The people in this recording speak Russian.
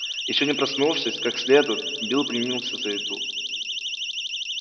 ещё не проснувшись как следует билл принялся за еду